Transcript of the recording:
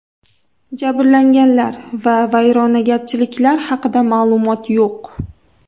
Jabrlanganlar va vayronagarchiliklar haqida ma’lumot yo‘q.